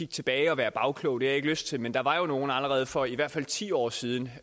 tilbage og være bagkloge det har jeg ikke lyst til men der var nogle som allerede for i hvert fald ti år siden